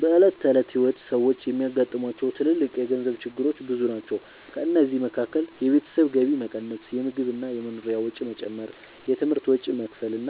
በዕለት ተዕለት ሕይወት ሰዎች የሚያጋጥሟቸው ትልልቅ የገንዘብ ችግሮች ብዙ ናቸው። ከእነዚህ መካከል የቤተሰብ ገቢ መቀነስ፣ የምግብ እና የመኖሪያ ወጪ መጨመር፣ የትምህርት ወጪ መክፈል እና